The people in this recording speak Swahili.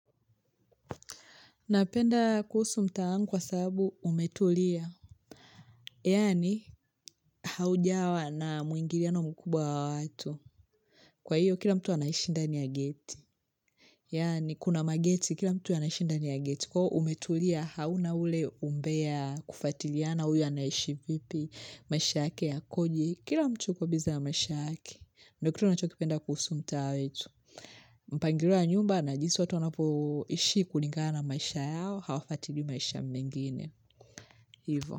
Napenda kuhusu mtaa wangu kwa sababu umetulia. Yaani, haujawa na muingiliano mkubwa wa watu. Kwa hiyo, kila mtu anaishi ndani ya geti. Yaani, kuna mageti, kila mtu anaishi ndani ya geti. Kuwa umetulia, hauna ule umbea kufatiliana, huyu anashivipi, maisha yake yakoje, kila mtu yuko busy ya maisha yake. Ndo kitu nachokipenda kuhusu mtaa wetu. Mpangilio wa nyumba na jinsi wanapo ishi kulingana maisha yao, Hawafuatili maisha mengine Hivo.